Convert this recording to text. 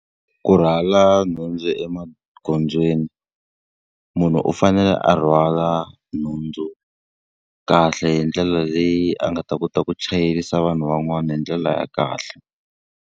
Ku rhwala nhundzu emagondzweni, munhu u fanele a rhwala nhundzu kahle hi ndlela leyi a nga ta kota ku chayerisa vanhu van'wana hi ndlela ya kahle.